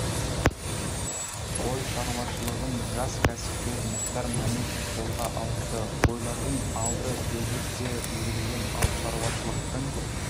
қой шаруашылығын жас кәсіпкер мұхтар мәметов қолға алыпты қойлардың алды төлдеп те үлгерген ал шаруашылықтың